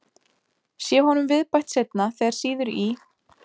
Sé honum viðbætt seinna þegar sýður í,